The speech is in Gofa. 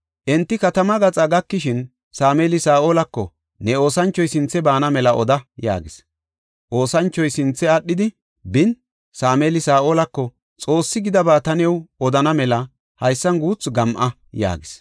Enti katama gaxa gakishin, Sameeli Saa7olako, “Ne oosanchoy sinthe baana mela oda” yaagis. Oosanchoy sinthe aadhidi bin, Sameeli Saa7olako, “Xoossi gidaba ta new odana mela haysan guuthu gam7a” yaagis.